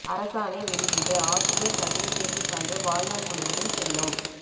அரசாணை வெளியீடு ஆசிரியர் தகுதி தேர்வு சான்று வாழ்நாள் முழுதும் செல்லும்